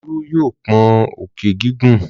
Olú yóò pọ́n òkè gígùn.